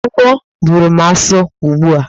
Agwọ bụrụ m asụ ugbu a!